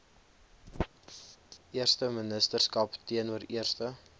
eersteministerskap teenoor eerste